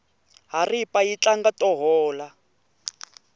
haripa yi tlanga to hola